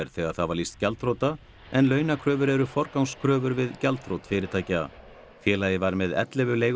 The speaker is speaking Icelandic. þegar það var lýst gjaldþrota en launakröfur eru forgangskröfur við gjaldþrot fyrirtækja félagið var með ellefu